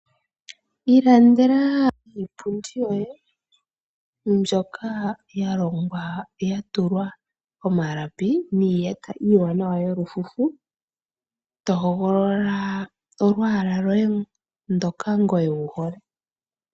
Ilandela iipundi yoye mbyoka ya longwa ya tulwa omalapi niiyata iiwanawa yolufufu to hogolola olwaala lwoye ndoka ngoye wu hole.